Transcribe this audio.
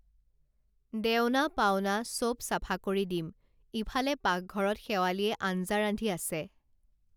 দেওনা পাওনা সব চাফা কৰি দিম ইফালে পাকঘৰত শেৱালিয়ে আঞ্জা ৰান্ধি আছে